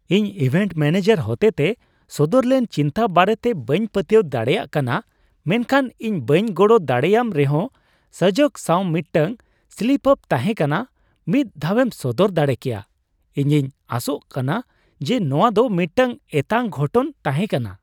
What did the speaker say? ᱤᱧ event manager ᱦᱚᱛᱮᱛᱮ ᱥᱚᱫᱚᱨ ᱞᱮᱱ ᱪᱤᱱᱛᱟᱹ ᱵᱟᱨᱮᱛᱮ ᱵᱟᱹᱧ ᱯᱟᱹᱛᱭᱟᱹᱣ ᱫᱟᱲᱮᱭᱟᱜ ᱠᱟᱱᱟ, ᱢᱮᱱᱠᱷᱟᱱ ᱤᱧ ᱵᱟᱹᱧ ᱜᱚᱲᱚ ᱫᱟᱲᱮᱭᱟᱢ ᱨᱮᱦᱚᱸ ᱥᱟᱡᱟᱜ ᱥᱟᱶ ᱢᱤᱫᱴᱟᱝ ᱥᱞᱤᱯᱼᱟᱯ ᱛᱟᱦᱮᱸ ᱠᱟᱱᱟ ᱢᱤᱫ ᱫᱷᱟᱣᱮᱢ ᱥᱚᱫᱚᱨ ᱫᱟᱲᱮ ᱠᱮᱭᱟ ᱾ ᱤᱧᱤᱧ ᱟᱸᱥᱚᱜ ᱠᱟᱱᱟ ᱡᱮ ᱱᱚᱶᱟ ᱫᱚ ᱢᱤᱫᱴᱟᱝ ᱮᱛᱟᱝ ᱜᱷᱚᱴᱚᱱ ᱛᱟᱦᱮᱸ ᱠᱟᱱᱟ ᱾